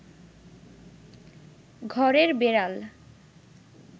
ঘরের বেড়াল